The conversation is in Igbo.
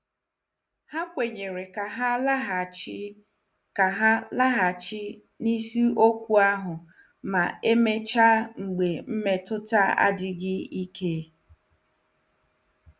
Ha kwenyere ka ha laghachi ka ha laghachi n'isiokwu ahụ ma emechaa mgbe mmetụta adịghị ike.